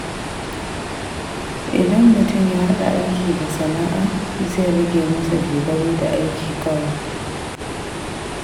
Idan mutum ya haɗa aiki da sana’a, zai rage masa dogaro da aiki kawai.